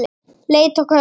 Leit og könnun